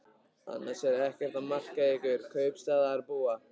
Annars er ekkert að marka ykkur kaupstaðarbúa.